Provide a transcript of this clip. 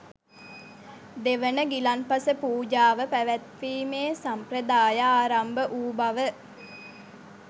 දෙවන ගිලන්පස පූජාව පැවැත්වීමේ සම්ප්‍රදාය ආරම්භ වූ බව